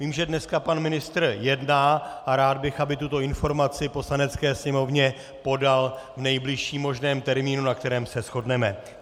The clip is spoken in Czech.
Vím, že dnes pan ministr jedná, a rád bych, aby tuto informaci Poslanecké sněmovně podal v nejbližším možném termínu, na kterém se shodneme.